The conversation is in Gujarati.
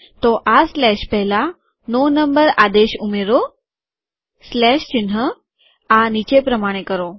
તો આ સ્લેશ પહેલા નો નંબર આદેશ ઉમેરોસ્લેશ ચિન્હઆ નીચે પ્રમાણે કરો